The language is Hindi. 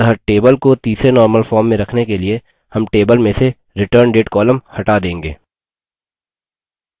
अतः table को तीसरे normal form में रखने के लिए हम table में से returndate column हटा देंगे